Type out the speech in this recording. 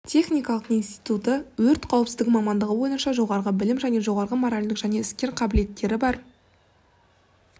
техникалық институты өрт қауіпсіздігі мамандығы бойынша жоғарғы білімі және жоғарғы моралдік және іскер қабілеттері бар